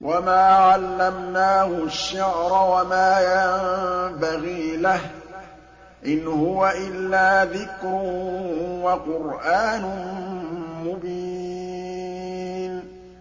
وَمَا عَلَّمْنَاهُ الشِّعْرَ وَمَا يَنبَغِي لَهُ ۚ إِنْ هُوَ إِلَّا ذِكْرٌ وَقُرْآنٌ مُّبِينٌ